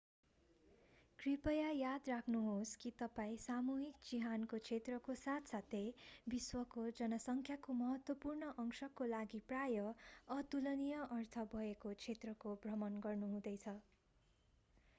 कृपया याद राख्नुहोस् कि तपाईं सामूहिक चिहानको क्षेत्रको साथसाथै विश्वको जनसंख्याको महत्त्वपूर्ण अंशको लागि प्रायः अतुलनीय अर्थ भएको क्षेत्रको भ्रमण गर्दै हुनुहुन्छ